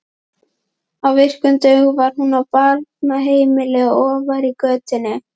Á virkum dögum var hún á barnaheimili ofar í götunni.